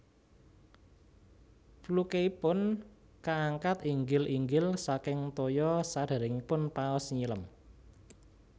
Flukeipun kaangkat inggil inggil saking toya sadéréngipun paus nyilem